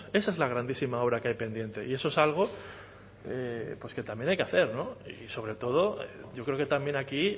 esa es la grandísima obra que hay pendiente y eso es algo que también hay que hacer no y sobre todo yo creo que también aquí